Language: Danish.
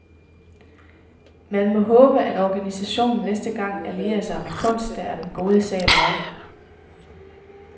Man må håbe, at organisationen næste gang allierer sig med kunst, der er den gode sag værdig.